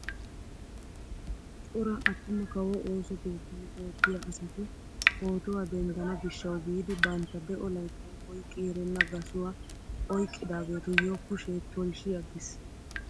Cora attuma kawo ooso keettan oottiyaa asati pootuwaa denddana giishshawu giidi bantta de'o layttan oyqqi erenna gasuwaa oyqqidaagetuyoo kushee tolshshi aggiis!